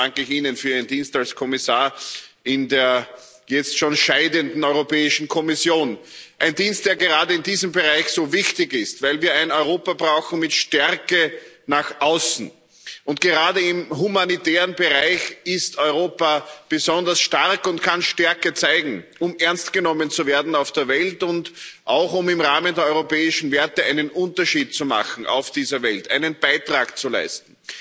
Und daher danke ich Ihnen für Ihren Dienst als Kommissar in der jetzt schon scheidenden Europäischen Kommission. Ein Dienst, der gerade in diesem Bereich so wichtig ist, weil wir ein Europa brauchen mit Stärke nach außen. Gerade im humanitären Bereich ist Europa besonders stark und kann Stärke zeigen, um ernst genommen zu werden auf der Welt und auch um im Rahmen der europäischen Werte einen Unterschied zu machen auf dieser Welt, einen Beitrag zu leisten.